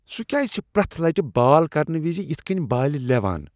سہ کیٛازِ چھ پرٛیتھ لٹہ بال کرنہٕ وز یتھ کٔنۍ بالِہ لیوان ؟